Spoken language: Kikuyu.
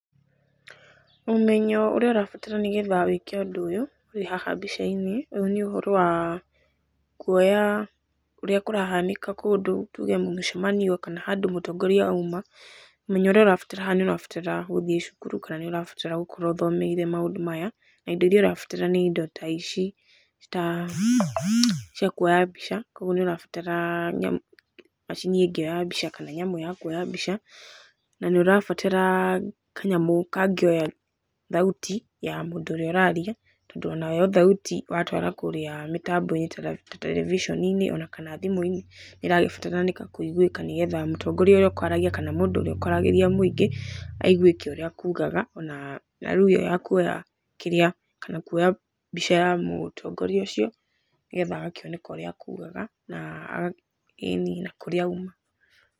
Ũmenyo ũrĩa ũrabatara nĩgetha wĩke ũndũ ũyũ wĩ haha mbica-inĩ, ũyũ nĩ ũhoro wa kuoya ũrĩa kũrahanĩka kũndũ, tuge mũcemanio kana handũ mũtongoria auma, ũmenyo ũrĩa ũrabatara haha nĩ ũrabatara gũthiĩ cukuru kana nĩ ũrabatara gũkorwo ũthomeire maũndũ maya, na indo iria ũrabatara nĩ indo ta ici, ta cia kuoya mbica, koguo nĩ ũrabatara nyamũ, macini ĩngĩoya mbica kana nyamũ ya kuoya mbica, na nĩ ũrabatara kanyamũ kangĩoya thauti ya mũndũ ũrĩa ũraria, tondũ onayo thauti watwara kũrĩa mĩtambo-inĩ television -inĩ, ona kana thimũ-inĩ, nĩ ĩragĩbataranĩka kũĩguĩka nĩgetha mũtongoria ũrĩa ũkwaragia kana mũndũ ũrĩa ũkwaragĩria mũingĩ, aiguĩke ũrĩa akugaga ona, na rĩu ĩyo ya kuoya kĩrĩa kana kuoya mbica ya mũtongoria ũcio, nĩgetha agakĩoneka ũrĩa akugaga na aga, ĩni na kurĩa auma.